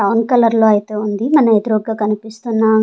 brown colour లో అయితే ఉంది మన ఎదురుగా కనిపిస్తున్నా--